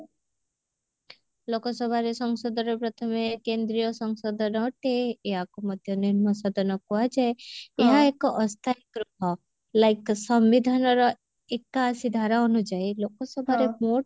ଲୋକସଭାରେ ସଂସଦରେ ପ୍ରଥମେ କେନ୍ଦ୍ରୀୟ ସଂସଦ ଆକୁ ମଧ୍ୟ ନିମ୍ନ ସାଧନ କୁହାଯାଏ ଏହା ଏକ ଅସ୍ଥାଇ ଗୃହ like ସମ୍ବିଧାନର ଏକାଅଶି ଧାରା ଅନୁଯାଇ ଲୋକସଭାରେ vote